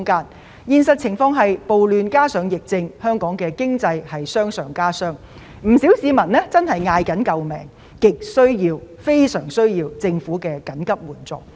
我們面對的現實情況是，暴亂加上疫症令香港經濟傷上加傷，不少市民叫苦連天，亟需政府提供緊急援助。